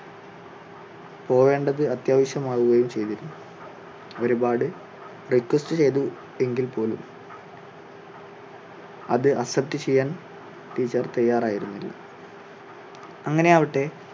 പോകേണ്ടത് അത്യാവിശ്യം ആകുകയും ചെയ്തിരുന്നു. ഒരുപാട് request ചെയ്തു എങ്കിൽ പോലും അത് accept ചെയ്യാൻ teacher തയ്യാറായിരുന്നില്ല. അങ്ങനെ ആവട്ടെ